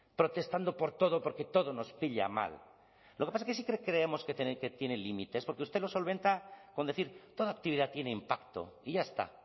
protestando por todo porque todos nos pilla mal lo que pasa que sí que creemos que tiene límites porque usted lo solventa con decir toda actividad tiene impacto y ya está